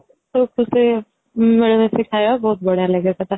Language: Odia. ଗୋଟେ ମିଳିମିଶି ଖାଇବା ବହୁତ ବଢିୟା ଲାଗେ ସେଇଟା